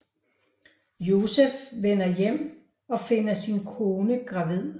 Josef vender hjem og finder sin kone gravid